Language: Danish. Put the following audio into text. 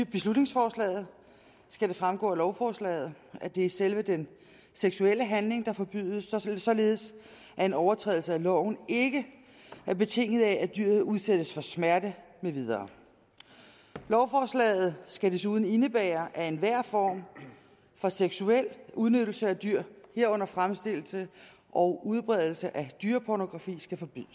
beslutningsforslaget skal det fremgår af lovforslaget at det er selve den seksuelle handling der forbydes således at den overtrædelse af loven ikke er betinget af at dyret udsættes for smerte med videre lovforslaget skal desuden indebære at enhver form for seksuel udnyttelse af dyr herunder fremstillelse og udbredelse af dyrepornografi skal forbydes